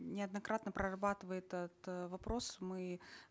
неоднократно прорабатывает это вопрос мы